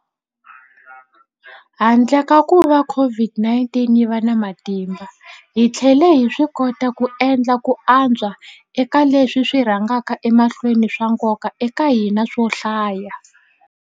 Handle ka kuva COVID-19 yi va na matimba, hi tlhele hi swikota ku endla ku antswa eka leswi swi rhangaka emahlweni swa nkoka eka hina swo hlaya.